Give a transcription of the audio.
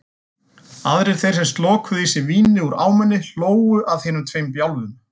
Aðrir þeir sem slokuðu í sig víni úr ámunni hlógu að hinum tveim bjálfum.